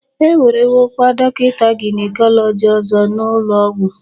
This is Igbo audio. E werewokwa dọkịta gynecology ọzọ n'ụlọọgwụ